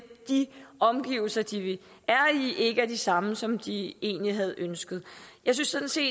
de omgivelser de er i ikke er de samme som de egentlig havde ønsket jeg synes sådan set